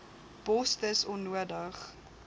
bos dis onnodig